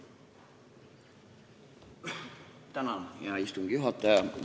Hea istungi juhataja!